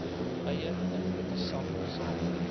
eie inkopiesak saam